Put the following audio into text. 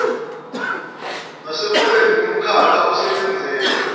nasekubeni nomkhakha osebenzela